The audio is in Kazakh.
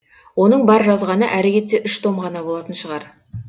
оның бар жазғаны әрі кетсе үш том ғана болатын шығар